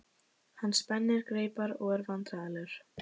Hann spennir greipar og er vandræðalegur.